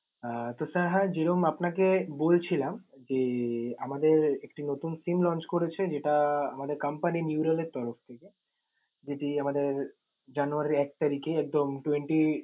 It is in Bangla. আহ তো sir হ্যাঁ, যেরম আপনাকে বলছিলাম যে আমাদের একটি নতুন SIM launch করেছে যেটা আমাদের company neural এর তরফ থেকে। যেটি আমাদের জানুয়ারির এক তারিকে একদম twenty